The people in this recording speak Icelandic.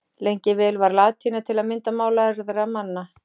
Lengi vel var latína til að mynda mál lærðra manna.